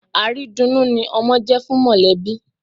Àrídunnú ni ọmọ jẹ́ fún mọ̀lẹ́bí.